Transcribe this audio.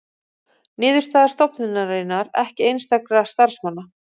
Niðurstaða stofnunarinnar ekki einstakra starfsmanna